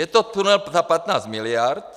Je to tunel za 15 miliard.